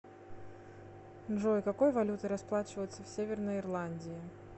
джой какой валютой расплачиваются в северной ирландии